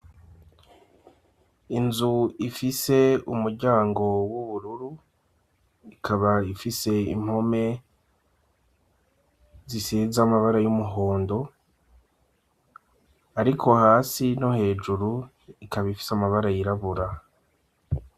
Inzu ifise umuryango w'ubururu, ikaba ifise impome zisize amabara y'umuhondo, ariko hasi no hejuru ikaba ifise amabara yirabura.